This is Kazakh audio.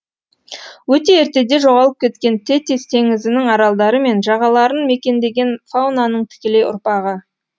өте ертеде жоғалып кеткен тетис теңізінің аралдары мен жағаларын мекендеген фаунаның тікелей ұрпағы